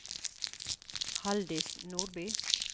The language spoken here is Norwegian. Haldis Nordby